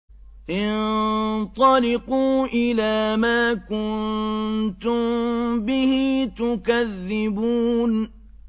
انطَلِقُوا إِلَىٰ مَا كُنتُم بِهِ تُكَذِّبُونَ